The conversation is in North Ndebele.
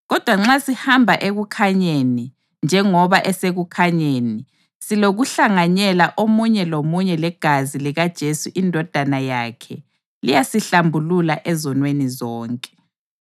Kodwa nxa sihamba ekukhanyeni, njengoba esekukhanyeni, silokuhlanganyela omunye lomunye legazi likaJesu iNdodana yakhe liyasihlambulula ezonweni zonke.